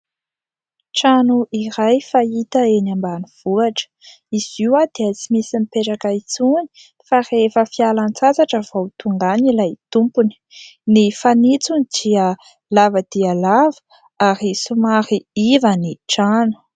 Trano iray fahita eny ambanivohitra. Izy io dia tsy misy mipetraka intsony fa rehefa fialan-tsasatra vao tonga any ilay tompony. Ny fanitsony dia lava dia lava ary somary iva ny trano